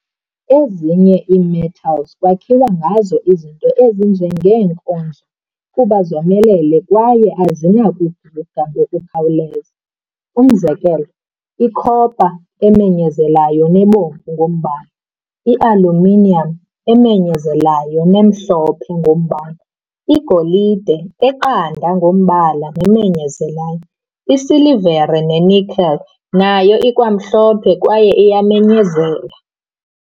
Ezinye ii-metals kwakhiwa ngazo izinto ezinje ngee-nkonzo kuba zomelele kwaye azinakukhuka ngokukhawuleza. Umzekelo, i-copper, emenyezelayo nebomvu ngombala, i-aluminium, emenyezelayo nemhlophe ngombala, igolide, eqanda ngombala nemenyezelayo, isilvere ne-nickel, nayo ikwamhlophe kwaye iyamenyezela.